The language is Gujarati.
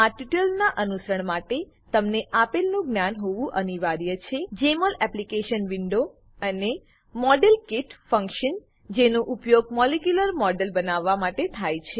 આ ટ્યુટોરીયલનાં અનુસરણ માટે તમને આપેલનું જ્ઞાન હોવું અનિવાર્ય છે જેમોલ એપ્લીકેશન વિન્ડો અને મોડેલકીટ ફંક્શન જેનો ઉપયોગ મોલેક્યુલર મોડેલો બનાવવા માટે થાય છે